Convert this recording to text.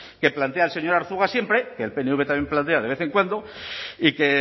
que plantea el señor arzuaga siempre que el pnv también plantea de vez en cuando y que